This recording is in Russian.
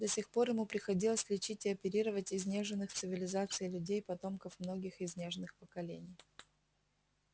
до сих пор ему приходилось лечить и оперировать изнеженных цивилизацией людей потомков многих изнеженных поколений